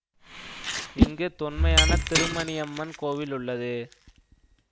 இங்கு தொன்மையான திருமணியம்மன் கோவில் உள்ளது